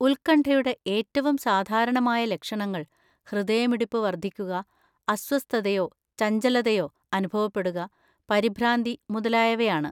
ഉത്കണ്ഠയുടെ ഏറ്റവും സാധാരണമായ ലക്ഷണങ്ങൾ ഹൃദയമിടിപ്പ് വർദ്ധിക്കുക, അസ്വസ്ഥതയോ ചഞ്ചലതയോ അനുഭവപ്പെടുക, പരിഭ്രാന്തി മുതലായവയാണ്.